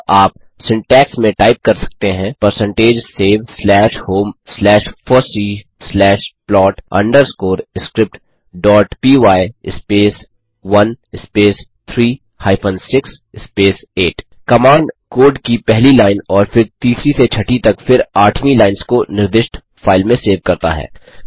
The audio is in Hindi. अतः आप सिन्टैक्स में टाइप कर सकते हैं percentage save slash home slash fossee slash plot underscore script dot py space 1 space 3 hyphen 6 space 8 command code की पहली लाइन और फिर तीसरी से छठी तक फिर आठवी लाइंस को निर्दिष्ट फाइल में सेव करता है